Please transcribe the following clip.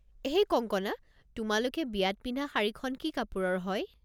হেই কংকনা, তোমালোকে বিয়াত পিন্ধা শাড়ীখন কি কাপোৰৰ হয়?